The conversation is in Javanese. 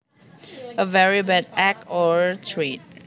A very bad act or trait